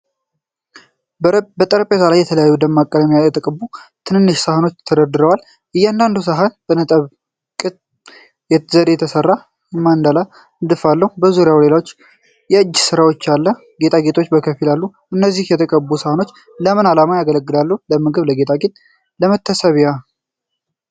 በጠረጴዛ ላይ የተለያዩ ደማቅ ቀለሞች የተቀቡ ትናንሽ ሳህኖች ተደርድረዋል። እያንዳንዱ ሳህን በነጥብ ቅብ ዘዴ የተሠራ የማንዳላ ንድፍ አለው። በዙሪያው ሌሎች የእጅ ሥራዎች እና ጌጣጌጦች በከፊል አሉ። እነዚህ የተቀቡ ሳህኖች ለምን ዓላማ ያገለግላሉ (ለምግብ፣ ለጌጣጌጥ፣ ለመታሰቢያ)?